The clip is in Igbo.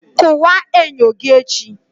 Kụwaa enyo gị echi!